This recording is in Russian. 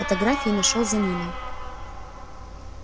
в фотографии зашёл за ниной